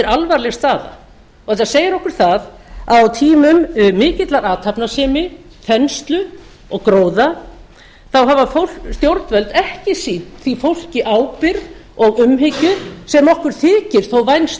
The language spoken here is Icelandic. alvarleg staða þetta segir okkur það að á tímum mikillar athafnasemi þenslu og gróða hafa stjórnvöld ekki sýnt því fólki ábyrgð og umhyggju sem okkur þykir þó vænst